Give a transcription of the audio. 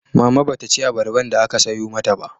Mama ba ta ci abarban da aka sayo mata ba